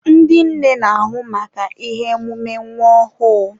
Ndị nne n'ahụ maka ihe emume nwa ọhụụ.